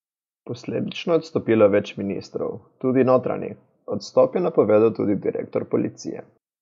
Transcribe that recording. Posledično je odstopilo več ministrov, tudi notranji, odstop je napovedal tudi direktor policije.